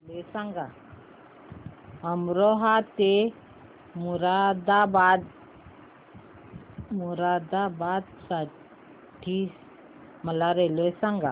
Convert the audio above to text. अमरोहा ते मुरादाबाद साठी मला रेल्वे सांगा